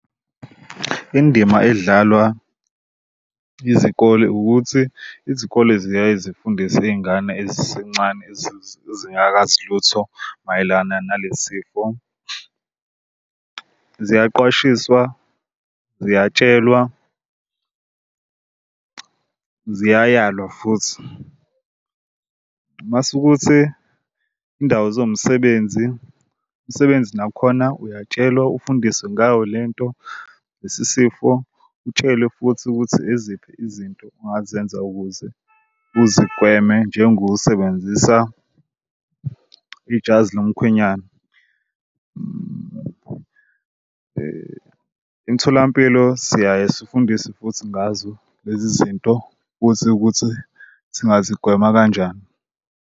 Indima edlalwa izikole ukuthi izikole ziyaye zifundise iy'ngane ezincane ezingakazi lutho mayelana nalesi sifo. Ziyaqwashiswa ziyatshelwa, ziyayalwa futhi mase ukuthi indawo ziwumsebenzi umsebenzi nakhona uyatshelwa ufundiswe ngayo lento. Lesi sifo utshelwe futhi ukuthi iziphi izinto ongazenza ukuze uzigweme njengokusebenzisa ijazi lomkhwenyana. Emitholampilo siyaye sifundise futhi ngazo lezi zinto futhi ukuthi singazigwema kanjani.